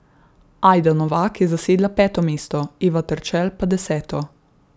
Ajda Novak je zasedla peto mesto, Eva Terčelj pa deseto.